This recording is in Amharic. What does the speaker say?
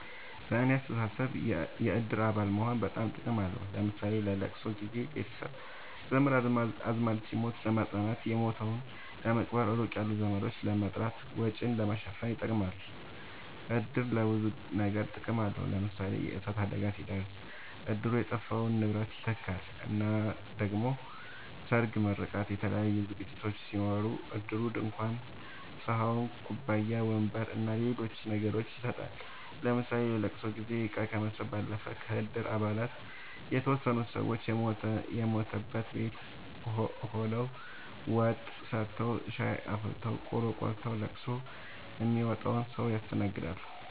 በኔ አስተሳሰብ የእድር አባል መሆን በጣም ጥቅም አለዉ ለምሳሌ ለለቅሶ ጊዘ ቤተሰብ ዘመድአዝማድ ሲሞት ለማጽናናት የሞተዉን ለመቅበር ሩቅ ያሉ ዘመዶችን ለመጥራት ወጪን ለመሸፈን ይጠቅማል። እድር ለብዙ ነገር ጥቅም አለዉ ለምሳሌ የእሳት አደጋ ሲደርስ እድሩ የጠፋውን ንብረት ይተካል እና ደሞ ሰርግ ምርቃት የተለያዩ ዝግጅቶች ሲኖሩ እድሩ ድንኳን ሰሀን ኩባያ ወንበር አና ሌሎች ነገሮችን ይሰጣል ለምሳሌ ለለቅሶ ጊዜ እቃ ከመስጠት ባለፈ ከእድር አባላት የተወሰኑት ሰወች የሞተበት ቤት ሆደው ወጥ ሰርተዉ ሻይ አፍልተው ቆሎ ቆልተዉ ለቅሶ ሚመጣዉን ሰዉ ያስተናግዳሉ።